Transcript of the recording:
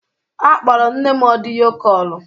Akpọrọ m nne m ọdịyo kọlu